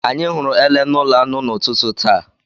Anyị hụrụ Ele n'ụlọ anụ n'ụtụtụ taa